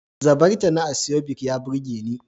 Zabarta na asoebi ya burge ni.